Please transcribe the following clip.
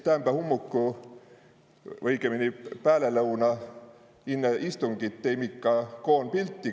Täämbä hummuku, õigõmpini, päälelõuna inne istungit teimi kah koon pilti.